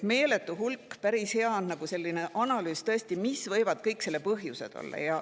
Siin tuuakse välja meeletu hulk võimalikke põhjuseid.